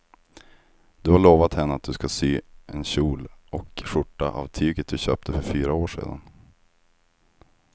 Du har lovat henne att du ska sy en kjol och skjorta av tyget du köpte för fyra år sedan.